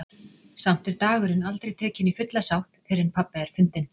Samt er dagurinn aldrei tekinn í fulla sátt fyrr en pabbi er fundinn.